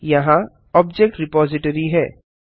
यहाँ object repository है